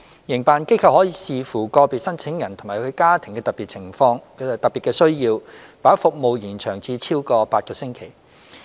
營辦機構可視乎個別申請人及其家庭的特別需要，把服務延長至超過8個星期。